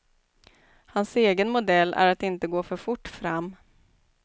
Hans egen modell är att inte gå för fort fram.